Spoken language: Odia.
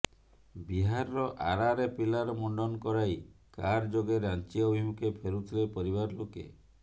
ବିହାରର ଆରାରେ ପିଲାର ମୁଣ୍ଡନ୍ କରାଇ କାର ଯୋଗେ ରାଞ୍ଜି ଅଭିମୁଖେ ଫେରୁଥିଲେ ପରିବାର ଲୋକେ